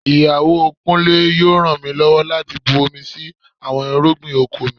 Ìyàwó Kúnlé yóò ràn mí lọ́wọ́ láti bu omi sí àwọn irúgbìn oko mi